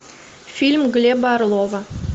фильм глеба орлова